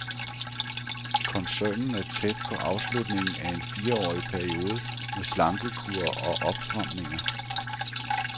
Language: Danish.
Koncernen er tæt på afslutningen af en fireårig periode med slankekur og opstramninger.